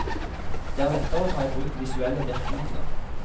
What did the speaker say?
Det er lettere å ta i bruk visuelle virkemidler.